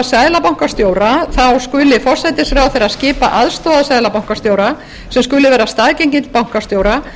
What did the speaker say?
seðlabankastjóra skuli forsætisráðherra skipa aðstoðarseðlabankastjóra sem skuli vera staðgengill bankastjóra og er